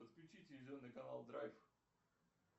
подключи телевизионный канал драйв